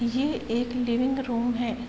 ये एक living room है।